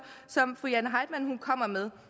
som fru jane heitmann kom med